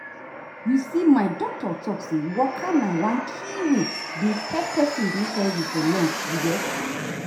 you see my doctor talk say say waka na one key wey dey help person dey healthy for long you get.